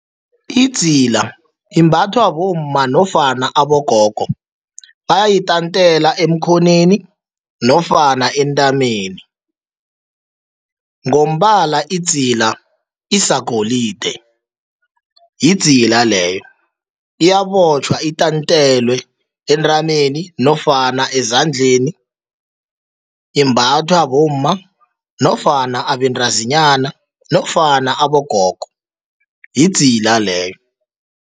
Idzila imbathwa bomma nofana abogogo, bayitantele emkhonweni nofana entameni. Ngombala idzila isagolide, yidzila aleyo. Iyabotjhwa itantelwe entameni nofana ezandleni. Imbathwa bomma nofana abentazinyana nofana abogogo, yidzila leyo.